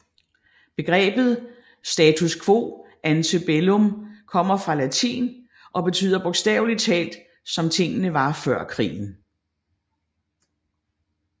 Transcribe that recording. Begrebet status quo ante bellum kommer fra latin og betyder bogstaveligt talt som tingene var før krigen